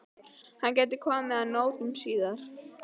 Hann gæti komið að notum síðar.